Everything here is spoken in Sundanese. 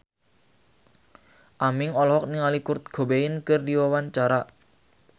Aming olohok ningali Kurt Cobain keur diwawancara